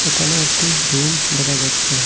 এখানে একটি রুম দেখা যাচ্ছে।